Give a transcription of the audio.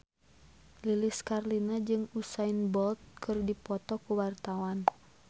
Lilis Karlina jeung Usain Bolt keur dipoto ku wartawan